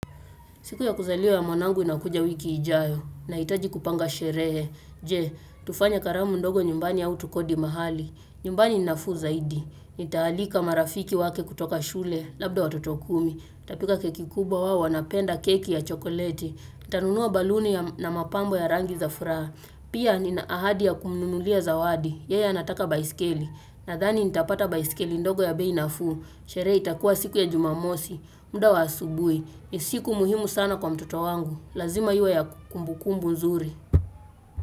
Siku ya kuzaliwa ya mwanangu inakuja wiki ijayo na hitaji kupanga sherehe. Je, tufanye karamu ndogo nyumbani au tu kodi mahali. Nyumbani ni nafu zaidi. Nitaalika marafiki wake kutoka shule labda watotokumi. niTapika keki kubwa wao wana penda keki ya chokoleti. niTanunuwa baluni na mapambo ya rangi za furaha. Pia ni na ahadi ya kumnulia za wadi. Yeye anataka baiskeli. Na thani nitapata baiskeli ndogo ya beinaffu. Sherehe itakuwa siku ya jumamosi. Muda wa asubui. nIsiku muhimu sana kwa mtoto wangu Lazima iwe ya kumbukumbu nzuri.